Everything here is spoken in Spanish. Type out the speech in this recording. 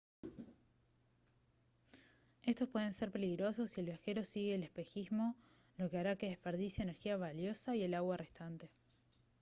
estos pueden ser peligrosos si el viajero sigue el espejismo lo que hará que desperdicie energía valiosa y el agua restante